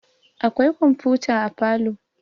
akwai komfuta a falo